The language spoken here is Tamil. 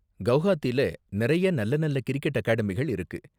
கெளஹாத்தில நிறைய நல்ல நல்ல கிரிக்கெட் அகாடமிகள் இருக்கு.